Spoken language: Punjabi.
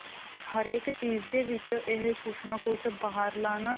ਹਰੇਕ ਚੀਜ਼ ਦੇ ਵਿੱਚ ਇਹ ਕੁੱਝ ਨਾ ਕੁੱਝ ਬਾਹਰਲਾ ਨਾ